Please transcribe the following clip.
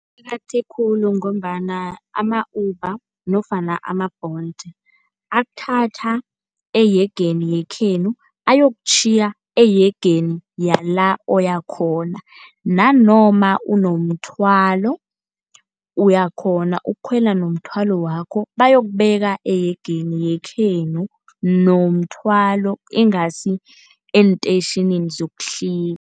Aqakatheke khulu ngombana ama-Uber nofana ama-Bolt akuthatha eyegeni yekhenu ayokutjhiya eyegeni yala oyakhona. Nanoma unomthwalo uyakghona ukukhwela nomthwalo wakho bayokubeka eyegeni yekhenu nomthwalo, ingasi eentetjhinini zokuhlika.